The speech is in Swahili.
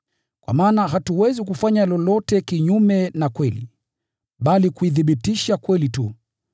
Kwa maana hatuwezi kufanya lolote kinyume na kweli, bali kuithibitisha kweli tu.